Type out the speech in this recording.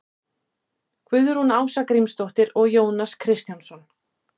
guðrún ása grímsdóttir og jónas kristjánsson